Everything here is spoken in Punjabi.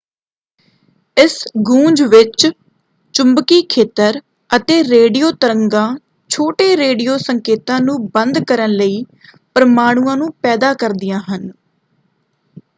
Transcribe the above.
ਇਸ ਗੂੰਜ ਵਿੱਚ ਚੁੰਬਕੀ ਖੇਤਰ ਅਤੇ ਰੇਡੀਓ ਤਰੰਗਾਂ ਛੋਟੇ ਰੇਡੀਓ ਸੰਕੇਤਾਂ ਨੂੰ ਬੰਦ ਕਰਨ ਲਈ ਪਰਮਾਣੂਆਂ ਨੂੰ ਪੈਦਾ ਕਰਦੀਆਂ ਹਨ।